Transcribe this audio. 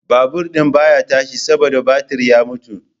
Babur din baya tashi saboda batir ya mutu